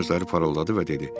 Tomun gözləri parıldadı və dedi: